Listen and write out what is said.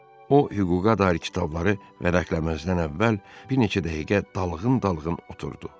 O hüquqa dair kitabları vərəqləməzdən əvvəl bir neçə dəqiqə dalğın-dalğın oturdu.